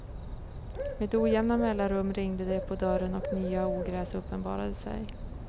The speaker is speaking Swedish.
Med ojämna mellanrum ringde det på dörren och nya ogräs uppenbarade sig.